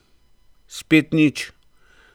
Spet nič.